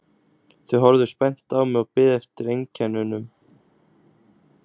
Þau horfðu spennt á mig og biðu eftir einkennunum.